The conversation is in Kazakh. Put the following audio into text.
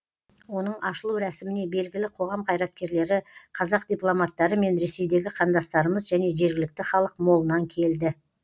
оның ашылу рәсіміне белгілі қоғам қайраткерлері қазақ дипломаттары мен ресейдегі қандастарымыз және жергілікті халық молынан келді